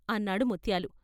' అన్నాడు ముత్యాలు.